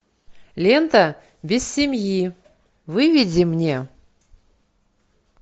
лента без семьи выведи мне